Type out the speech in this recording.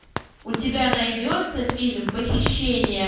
у тебя найдется фильм похищение